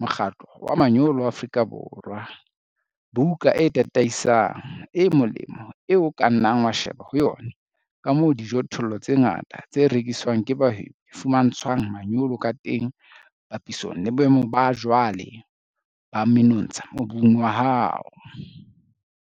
Mokgatlo wa Manyolo wa Afrika Borwa, - buka e tataisang, e molemo, eo o ka nnang wa sheba ho yona ka moo dijothollo tse ngata tse rekiswang ke bahwebi di fumantshwang manyolo ka teng papisong le boemo ba jwale ba menontsha mobung wa hao.